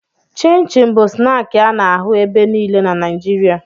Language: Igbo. Chịn chịn bụ snaakị a na-ahụ ebe niile na Naịjirịa